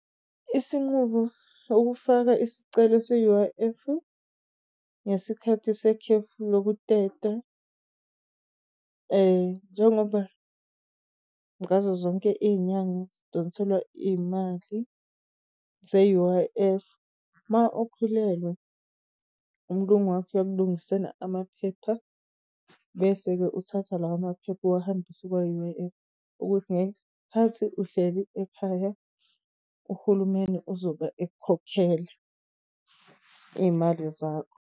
Isinqumo ukufaka isicelo se-U_I_F-u ngesikhathi sekhefu lokuteta. njengoba ngazo zonke iy'nyanga sidonselwa iy'mali ze-U_I_F, mawukhulelwa umlungu wakho uyakulungisela amaphepha bese-ke uthatha lawo maphepha uwahambise kwa-U_I_F ukuze khathi uhleli ekhaya, uhulumeni uzobe ekukhokhela iy'mali zakho.